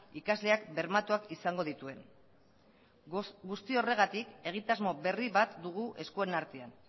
ikasleak bermatuak izango dituen guzti horregatik egitasmo berri bat dugu eskuen artean